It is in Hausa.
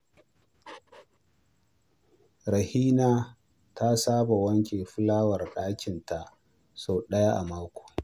Rahina ta saba wanke fulawar ɗakinta sau ɗaya a mako.